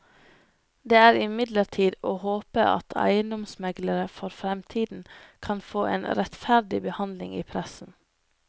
Det er imidlertid å håpe at eiendomsmeglere for fremtiden kan få en rettferdig behandling i pressen.